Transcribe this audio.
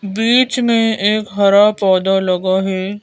बीच में एक हरा पौधा लगा है।